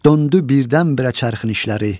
döndü birdən-birə çarxın işləri.